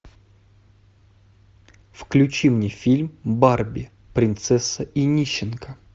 включи мне фильм барби принцесса и нищенка